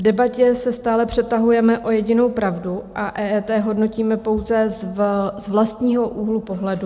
V debatě se stále přetahujeme o jedinou pravdu a EET hodnotíme pouze z vlastního úhlu pohledu.